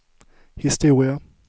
historia